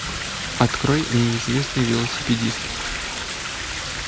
открой неизвестный велосипедист